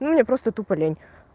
ну мне просто тупо лень